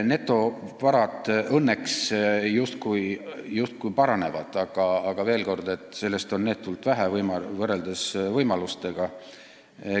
Netovarad õnneks justkui paranevad, aga veel kord: seda on võimalustega võrreldes neetult vähe.